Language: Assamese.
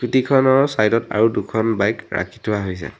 স্কুটিখনৰ চাইডত আৰু দুখন বাইক ৰাখি থোৱা হৈছে।